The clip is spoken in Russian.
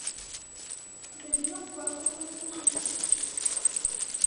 зайди во вкладку платежи